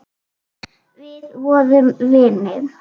Við vorum vinir.